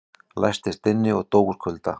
Læstist inni og dó úr kulda